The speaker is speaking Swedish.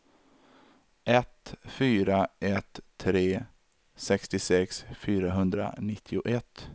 ett fyra ett tre sextiosex fyrahundranittioett